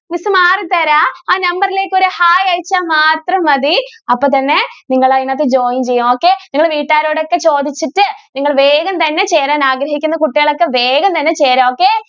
തരാം. ആ number ലേക്ക് ഒരു hai അയച്ചാൽ മാത്രം മതി. അപ്പോ തന്നെ നിങ്ങൾ അതിനകത്ത് join ചെയ്യും. okay നിങ്ങൾ വീട്ടുകാരോടൊക്കെ ചോദിച്ചിട്ട് നിങ്ങൾ വേഗം തന്നെ ചേരാൻ ആഗ്രഹിക്കുന്ന കുട്ടികൾ ഒക്കെ വേഗം തന്നെ ചേരാ okay.